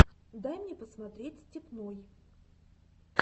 дай мне посмотреть степной